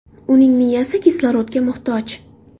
Uning miyasi kislorodga muhtoj.